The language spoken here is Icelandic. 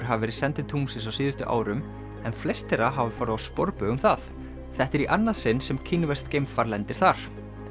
hafa verið send til tunglsins á síðustu árum en flest þeirra hafa farið á sporbaug um það þetta er í annað sinn sem kínverskt geimfar lendir þar